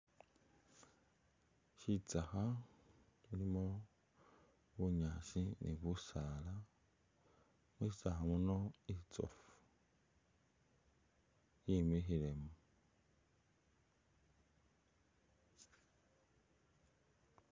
Shitsakha mulimo bunyaasi ni busaala, mushitsakha muno mulimo inzoofu yimikhilemu.